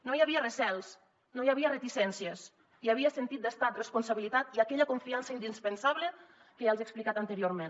no hi havia recels no hi havia reticències hi havia sentit d’estat responsabilitat i aquella confiança indispensable que ja els he explicat anteriorment